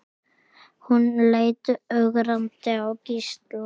Hún leit ögrandi á Gísla.